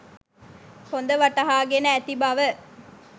හොද වටහාගෙන ඇති බව